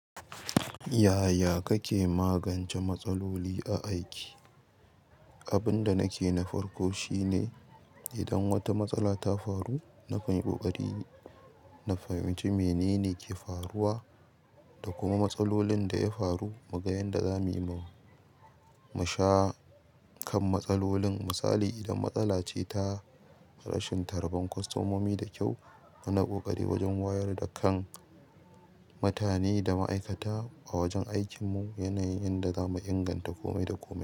Yaya kake magance matsaloli a aiki? Abin da nake na farko shine idan wata matsala ta faru, na kanyi ƙoƙari, na fahimci menene ke faruwa da kuma matsalolin da ya faru. Muga yanda zamuyi musha kan matsalolin. Misali idan matsala ce ta rashin tarban kwastomomi da kyau, muna ƙoƙari wajen wayar da kan mutane da ma'aikata a wajen aikinmu. Yanayin yanda zamu inganta kome da komai.